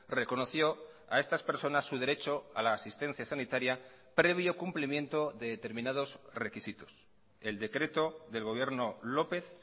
reconoció a estas personas su derecho a la asistencia sanitaria previo cumplimiento de determinados requisitos el decreto del gobierno lópez